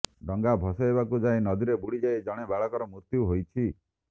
ଡଙ୍ଗା ଭସାଇବାକୁ ଯାଇ ନଦୀରେ ବୁଡିଯାଇ ଜଣେ ବାଳକର ମୃତ୍ୟୁ ହୋଇଛି